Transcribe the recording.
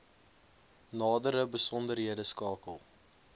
nadere besonderhede skakel